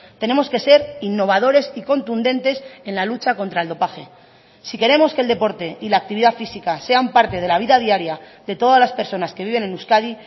tenemos que ser innovadores y contundentes en la lucha contra el dopaje si queremos que el deporte y la actividad física sean parte de la vida diaria de todas las personas que viven en euskadi